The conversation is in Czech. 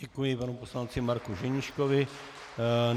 Děkuji panu poslanci Marku Ženíškovi.